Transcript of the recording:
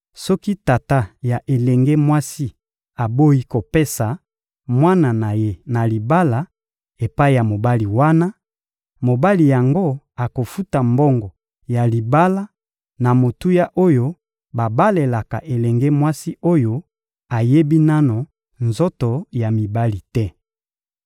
Soki tata ya elenge mwasi aboyi kopesa mwana na ye na libala epai ya mobali wana, mobali yango akofuta mbongo ya libala na motuya oyo babalelaka elenge mwasi oyo ayebi nanu nzoto ya mibali te.